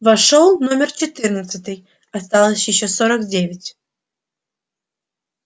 вошёл номер четырнадцатый осталось ещё сорок девять